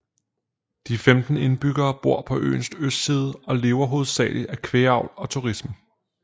De 15 indbyggere bor på øens østside og lever hovedsagelig af kvægavl og turisme